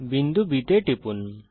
বিন্দু B তে টিপুন